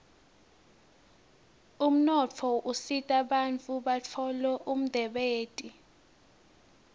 umnotfo usita bantfu batfole umdebenti